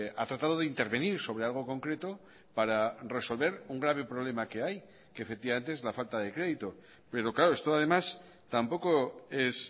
ha tratado de intervenir sobre algo concreto para resolver un grave problema que hay que efectivamente es la falta de crédito pero claro esto además tampoco es